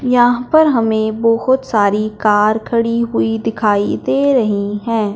यहां पर हमें बहुत सारी कार खड़ी हुई दिखाई दे रही है।